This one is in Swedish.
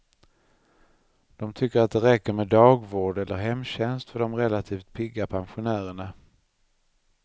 De tycker att det räcker med dagvård eller hemtjänst för de relativt pigga pensionärerna.